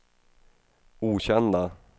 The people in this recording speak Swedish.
okända